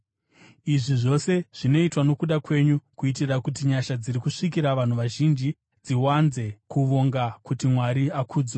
Izvi zvose zvinoitwa nokuda kwenyu, kuitira kuti nyasha dziri kusvikira vanhu vazhinji dziwanze kuvonga kuti Mwari akudzwe.